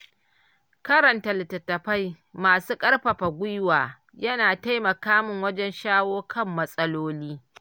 Karanta littattafai masu ƙarfafa gwiwa, yana taimaka min wajen shawo kan matsaloli.